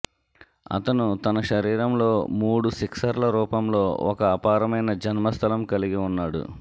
అతను తన శరీరంలో మూడు సిక్సర్లు రూపంలో ఒక అపారమయిన జన్మస్థలం కలిగి ఉన్నాడు